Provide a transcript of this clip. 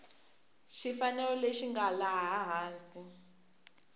xifaniso lexi nga laha hansi